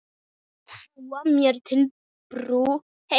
Búa mér til brú heim.